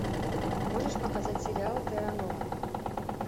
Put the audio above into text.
можешь показать сериал терра нова